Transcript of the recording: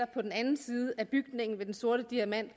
på den anden side af bygningen ved den sorte diamant